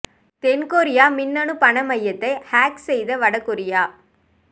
தென் கொரிய மின்னணு பண மையத்தை ஹேக் செய்த வட கொரியா